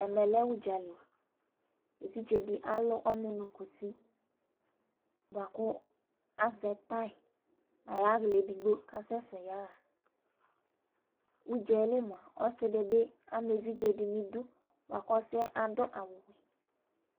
Ɛmɛ lɛ ʋdzali: evidze dɩ alʋ ɔnʋ nʋ kusi bʋakʋ azɛ tay nayaɣlaɛ edgbo kasɛsɛ yaɣaʊdza yɛ, li mʋa, ɔsɩ dɩ bɩ ama evidze dɩ nʋ idu bʋa kʋ ɔsɩɛ ɔdʋ awʋ li